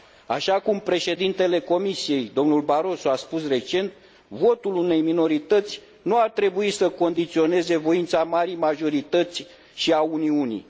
Așa cum președintele Comisiei, domnul Barroso, a spus recent, votul unei minorități nu ar trebui să condiționeze voința marii majorități și a Uniunii.